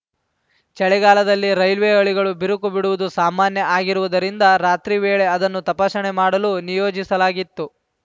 ಚಳಿಗಾಲದಲ್ಲಿ ರೈಲ್ವೆ ಹಳಿಗಳು ಬಿರುಕು ಬಿಡುವುದು ಸಾಮಾನ್ಯ ಆಗಿರುವುದರಿಂದ ರಾತ್ರಿ ವೇಳೆ ಅದನ್ನು ತಪಾಸಣೆ ಮಾಡಲು ನಿಯೋಜಿಸಲಾಗಿತ್ತು